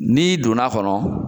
N'i donna a kɔnɔ